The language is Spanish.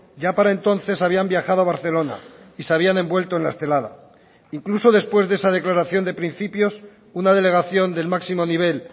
ya para entonces habían viajado a barcelona y se habían envuelto en la estelada incluso después de esa declaración de principios una delegación del máximo nivel